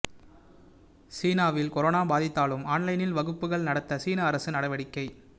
சீனாவில் கரோனா பாதித்தாலும் ஆன்லைனில் வகுப்புகள் நடத்த சீன அரசு நடவடிக்கை